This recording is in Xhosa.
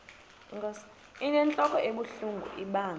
inentlok ebuhlungu ibanga